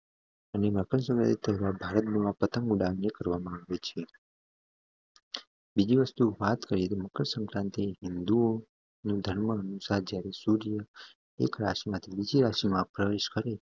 અને મકરસંક્રાંતિ ભારત માં પ્રથમ ઉડાણ કરવામાં આવે છે બીજી વસ્તુ ભારત મકર સંક્રાંતિ હિન્દૂ નું ધર્મ અનુસાર જ્યારે સૂર્ય એક રાશિ માંથી બીજી રાશિ માં પ્રવેશ કરે છે